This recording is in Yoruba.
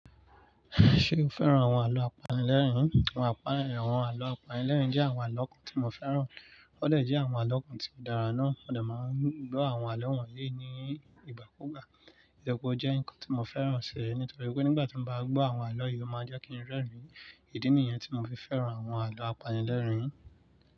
Ṣé o fẹ́ràn àwọn àlọ́ apanilẹ́rìn-ín? Àwọn àpáńyẹ́, àwọn àlọ́ apanilẹ́rìn-ín jẹ́ àwọn àlọ́ kan tí mo fẹ́ràn. Ó lè jẹ́ àwọn àlọ́ kan tí kò dára náà. Ó dà máa ń gbọ́ àwọn àlọ́ wọ̀nyí ní ìgbà kú gbà. Ìdọ̀kọ̀ jẹ́ ǹkan tí mo fẹ́ràn ṣe nítorí pé nígbà tí mo bá gbọ́ àwọn àlọ́ yìí, ó máa jẹ́ kí n rẹ́rìn-ín. Ídi nìyẹn tí mo fi fẹ́ràn àwọn àlọ́ apanilẹ́rìn-ín.